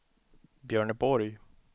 Björneborg